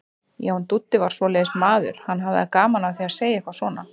Já, en Dúddi var svoleiðis maður, hann hafði gaman af því að segja eitthvað svona.